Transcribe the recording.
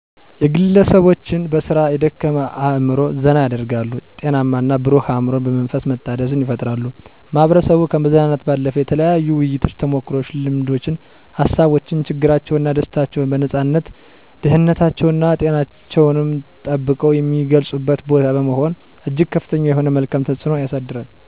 የግለሰቦችን በስራ የደከመ አእምሮ ዘና ያደርጋሉ፤ ጤናማና ብሩህ አእምሮን በመንፈስ መታደስን ይፈጥራል። ማህበረሰቡ ከማዝናናት ባለፈ የተለያዩ ውይይቶችን፣ ተሞክሮዎችን፣ ልምዶችን፣ ሀሳቦችን፣ ችግራቸውንና ደስታቸውን በነፃነት ደህንነታቸውና ጤናቸውን ጠብቀው የሚገልጹበት ቦታ በመሆኑ እጅግ ከፍተኛ የሆነ መልካም ተፅዕኖ ያሳድራል።